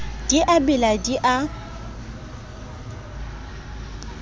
di a bela di a